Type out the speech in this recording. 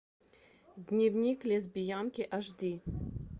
дневник лесбиянки аш ди